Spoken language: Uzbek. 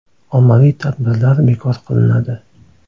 Ommaviy tadbirlar bekor qilinadi.